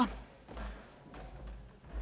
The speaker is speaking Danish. at